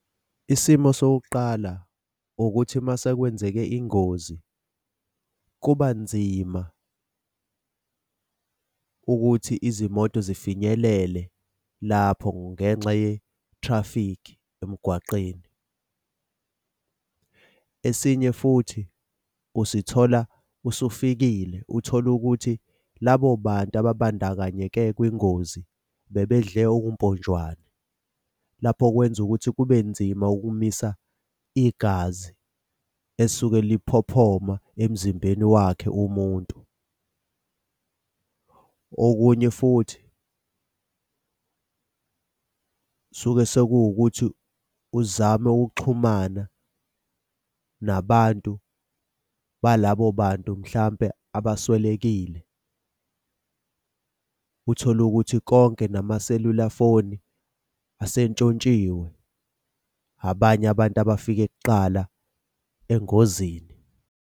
Isimo sokuqala ukuthi uma sekwenzeke ingozi kuba nzima ukuthi izimoto zifinyelele lapho ngenxa ye-traffic emgwaqeni. Esinye futhi usithola usufikile, uthole ukuthi labo bantu ababandakanyeke kwingozi bebedle okumponjwane. Lapho kwenza ukuthi kube nzima ukumisa igazi esuke liphohoma emzimbeni wakhe umuntu. Okunye futhi suke sekuwukuthi uzame ukuxhumana nabantu balabo bantu mhlampe abaswelekile. Uthole ukuthi konke namaselula foni asentshontshiwe abanye abantu abafike kuqala engozini.